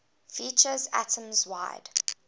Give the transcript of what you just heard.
features atoms wide